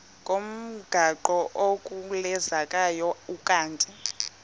ngomgaqo ozungulezayo ukanti